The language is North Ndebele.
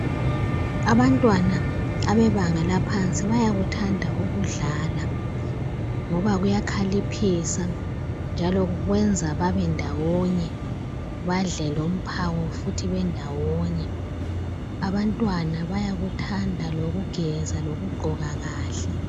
Abantwana abebanga laphansi bayakuthanda ukudlala ngoba kuyakhaliphisa njalo kwenza babe ndawonye badle lomphako futhi bendawonye abantwana bayakuthanda lokugeza lokugqoka kahle.